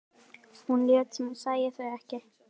Hún lét sem hún sæi þau ekki.